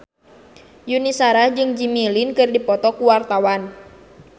Yuni Shara jeung Jimmy Lin keur dipoto ku wartawan